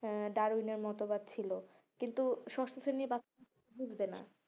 হ্যাঁ ডারউইনের মতবাদ ছিল কিন্তু ষষ্ট শ্রেণীর বাচ্চারা বুঝবে না